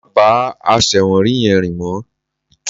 Má bá àṣẹ̀wọ̀nrí yẹn rìn mọ́